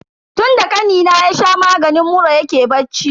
Tunda kanina ya sha maganin mura yake bacci.